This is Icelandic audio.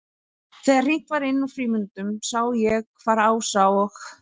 Þegar hringt var inn úr frímínútunum sá ég hvar Ása og